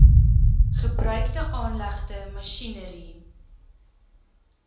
gebruikte aanlegte masjinerie